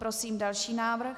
Prosím další návrh.